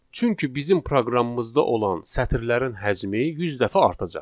Çünki bizim proqramımızda olan sətirlərin həcmi 100 dəfə artacaq.